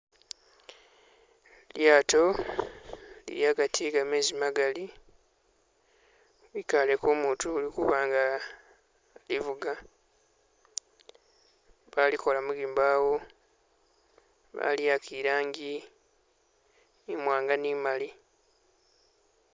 Lyato lili agati egamezi magali kwikaleko umutu ulikubanga ivuga balikola mu gimbawo bali'aka irangi imwanga ni'mali